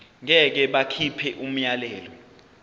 ngeke bakhipha umyalelo